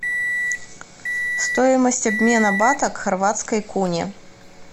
стоимость обмена бата к хорватской куне